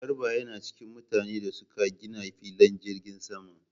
Garba yana cikin mutanen da suka gina filin jirgin sama